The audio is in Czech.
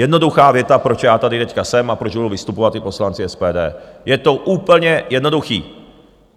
Jednoduchá věta, proč já tady teď jsem a proč budou vystupovat i poslanci SPD, je to úplně jednoduché.